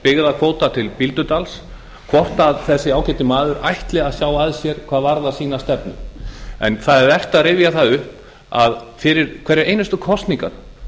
byggðakvóta til bíldudals hvort þessi ágæti maður ætli að sjá að sér hvað varðar sína stefnu það er vert að rifja það upp að fyrir hverjar einustu kosningar